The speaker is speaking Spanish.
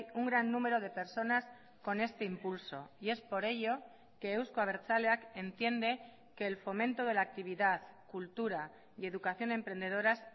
un gran número de personas con este impulso y es por ello que euzko abertzaleak entiende que el fomento de la actividad cultura y educación emprendedoras